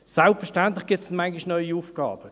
Selbstverständlich gibt es manchmal neue Aufgaben;